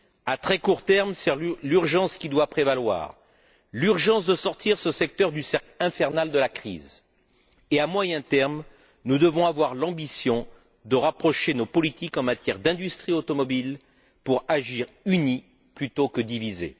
À très court terme, c'est l'urgence qui doit prévaloir, l'urgence de sortir ce secteur du cercle infernal de la crise et, à moyen terme, nous devons avoir l'ambition de rapprocher nos politiques en matière d'industrie automobile pour agir unis plutôt que divisés.